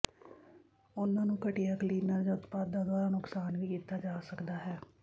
ਉਹਨਾਂ ਨੂੰ ਘਟੀਆ ਕਲੀਨਰ ਜਾਂ ਉਤਪਾਦਾਂ ਦੁਆਰਾ ਨੁਕਸਾਨ ਵੀ ਕੀਤਾ ਜਾ ਸਕਦਾ ਹੈ